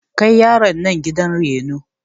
Kai yaron nan gidan reno!